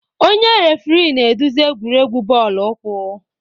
Onye refirii na-eduzi egwuregwu bọọlụ ukwu.